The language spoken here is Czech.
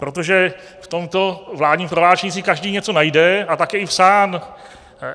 Protože v tomto vládním prohlášení si každý něco najde, a tak je i psáno.